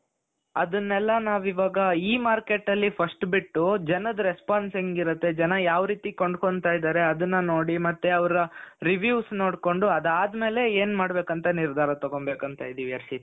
ಅದನ್ನೆಲ್ಲ ನಾವು ಇವಾಗ E marketಅಲ್ಲಿ first ಬಿಟ್ಟು ಜನದ response ಹೇoಗಿರುತ್ತೆ? ಜನ ಯಾವ ರೀತಿ ಕೊಂಡುಕೊಳ್ಳುತ್ತಿದ್ದಾರೆ ಅದನ್ನ ನೋಡಿ ಮತ್ತೆ ಅವರ reviews ನೋಡ್ಕೊಂಡು ಅದಾದ್ಮೇಲೆ ಏನ್ ಮಾಡಬೇಕು ಅಂತ ನಿರ್ಧಾರ ತಗೊಂಡ್ ಬೇಕು ಅಂತ ಇದ್ದೀನವಿ ಹರ್ಷಿತ್ .